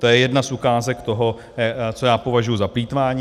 To je jedna z ukázek toho, co já považuji za plýtvání.